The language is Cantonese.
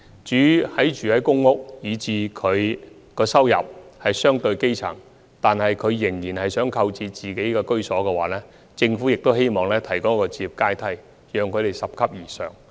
至於居住在公屋、收入屬於基層水平，但仍想購置居所的市民，政府亦希望能為他們提供置業階梯，讓他們拾級而上。